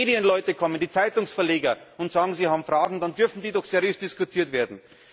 Wenn die Medienleute kommen, die Zeitungsverleger, und sagen, sie haben Fragen, dann dürfen die doch seriös diskutiert werden.